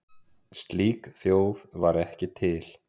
Slík þjóð var ekki til.